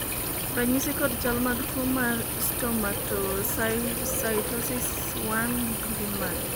ranyisi kod chal mag tuo mar Stomatocytosis 1 gin mage?